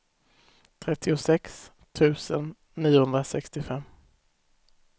trettiosex tusen niohundrasextiofem